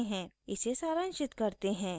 इसे सारांशित करते हैं